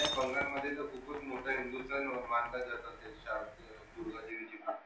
हो आणि बंगाल मध्ये तर खूपच मोठा हिंदुस्थान मानला जातो दुर्गा देवीची पूजा